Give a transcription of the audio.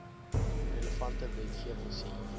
relevante wetgewing sien